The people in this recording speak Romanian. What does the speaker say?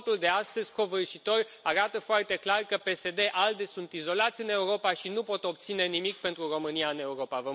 Votul de astăzi, covârșitor, arată foarte clar că PSD ALDE sunt izolați în Europa și nu pot obține nimic pentru România în Europa.